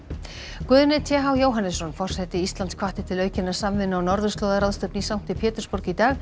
Guðni t h Jóhannesson forseti Íslands hvatti til aukinnar samvinnu á norðurslóðaráðstefnu í sankti Pétursborg í dag